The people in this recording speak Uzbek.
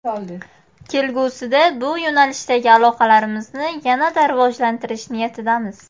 Kelgusida bu yo‘nalishdagi aloqalarimizni yanada rivojlantirish niyatidamiz.